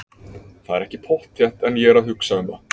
Það er ekki pottþétt en ég er að hugsa um það.